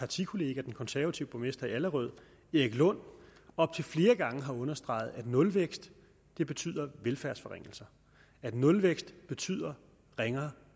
partikollega den konservative borgmester i allerød erik lund op til flere gange har understreget at nulvækst betyder velfærdsforringelser at nulvækst betyder ringere